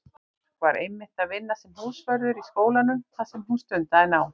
Mark var einmitt að vinna sem húsvörður í skólanum þar sem hún stundaði nám.